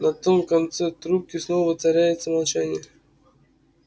на том конце трубки снова воцаряется молчание